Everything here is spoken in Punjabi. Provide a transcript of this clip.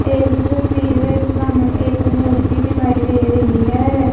ਇਸ ਤਸਵੀਰ ਵਿੱਚ ਤੁਹਾਨੂੰ ਇੱਕ ਮੂਰਤੀ ਦਿਖਾਈ ਦੇ ਰਹੀ ਹੈ।